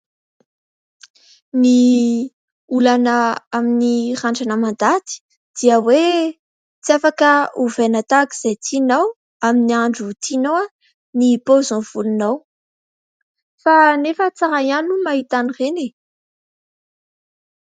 Ny olana amin'ny randrana mandady dia hoe tsy afaka ovaina tahaka izay tianao amin'ny andro tianao ny paozin'ny volonao. Kanefa tsara ihany ny mahita an'ireny e !